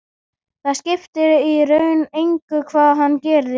Það skipti í raun engu hvað hann gerði.